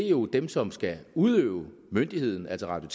er jo dem som skal udøve myndigheden altså radio